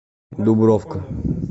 дубровка